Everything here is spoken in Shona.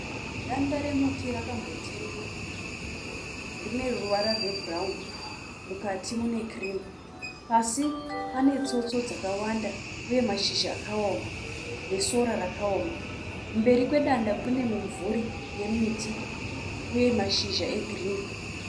Danda remuti rakambotemwa rine ruvara rwebhurawuni mukati mune kirimu. Pasi pane tsotso dzakawanda uye mazhizha akaoma nesora rakaoma. Mberi kwedanda kune mumvuri yemiti uye mashizha egirini.